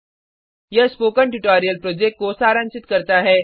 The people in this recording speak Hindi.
यह स्पोकन ट्यटोरियल प्रोजेक्ट को सारांशित करता है